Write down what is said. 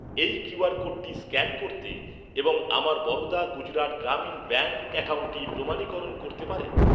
এই কিউআর কোডটি স্ক্যান করতে এবং আমার বরোদা গুজরাট গ্রামীণ ব্যাঙ্ক অ্যাকাউন্টটি প্রমাণীকরণ করতে পারেন?